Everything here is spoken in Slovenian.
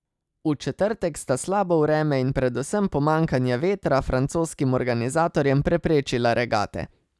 V četrtek sta slabo vreme in predvsem pomanjkanje vetra francoskim organizatorjem preprečila regate.